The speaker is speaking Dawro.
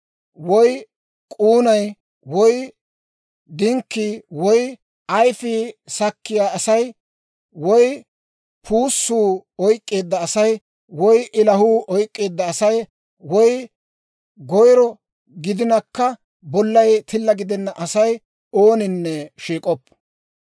woy k'uunay, woy dinkkii, woy ayfii sakkiyaa asay, woy puussuu oyk'k'eedda asay, woy ilahuu oyk'k'eedda asay, woy goyro gidinakka bollay tilla gidenna asay, ooninne shiik'oppo.